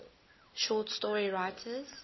short story writers